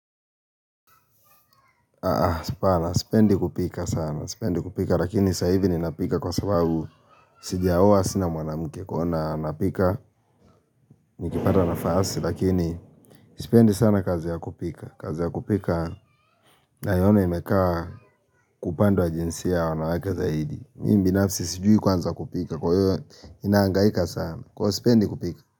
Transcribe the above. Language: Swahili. Apana, sipendi kupika sana, sipendi kupika, lakini saa hivi ninapika kwa sababu sijaoa sina mwanamke, kuona napika, nikipata nafasi, lakini, sipendi sana kazi ya kupika, kazi ya kupika, naiono imekaa kwa upande wa jinsia ya wanawake zaidi, mimi binafsi sijui kuanza kupika, kwa hiyo ninahangaika sana, kuwa sipendi kupika.